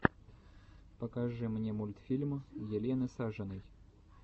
покажи мне мультфильм елены сажиной